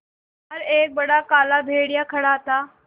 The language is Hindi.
बाहर एक बड़ा काला भेड़िया खड़ा था